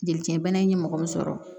Jeli kɛnɛ in ye mɔgɔ min sɔrɔ